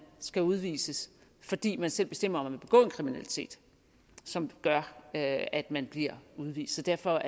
skal udvises fordi man selv bestemmer vil begå kriminalitet som gør at at man bliver udvist derfor